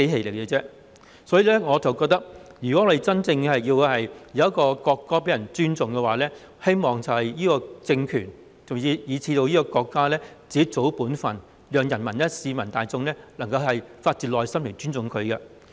有鑒於此，我認為，如果希望人民真正尊重國歌，這個政權以至這個國家應該做好自己的本分，令人民、市民大眾能夠發自內心地尊重它。